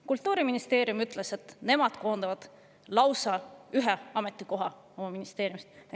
Kultuuriministeerium ütles, et nemad koondavad lausa ühe ametikoha oma ministeeriumist.